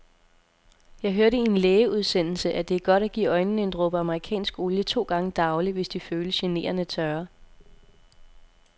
Jeg hørte i en lægeudsendelse, at det er godt at give øjnene en dråbe amerikansk olie to gange daglig, hvis de føles generende tørre.